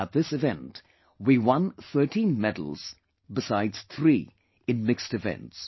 At this event we won 13 medals besides 3 in mixed events